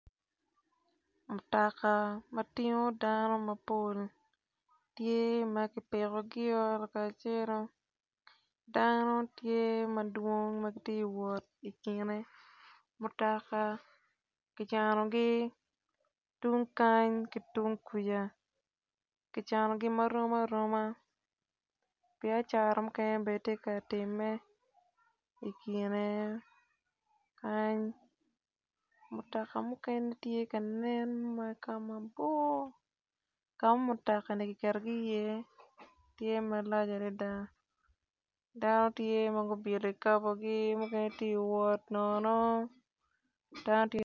Mutoka matingo dano mapol tye ma kipikogio lakacelo dano tye madwong matye kawot ikine mutoka kicanogi tung kany ki tung kwica kicanogi marom aroma biacara mukene bene tye ka time ikine kany mutoka mukene tye kanen wa kamabor kama mutokani giketogi iye tye malac adada dano tye ma gubyelo kikabogi mukene tye ka wot nono dano tye